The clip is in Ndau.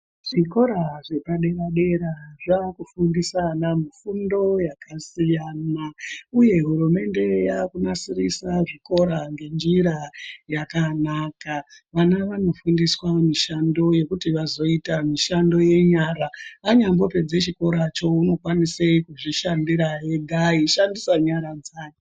Zvikora zvepa dera dera zvaku fundisa ana mufundo yaka siyana uye hurumende yaku nasirisa zvikora nge njira yakanaka vana vano fundiswa mishando yekuti vazoita mishando ye nyara anyambo pedze chikora cho unokwanise kuzvi shandira ega eyi shandise nyara dzake.